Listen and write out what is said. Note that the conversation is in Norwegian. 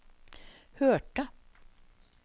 hørte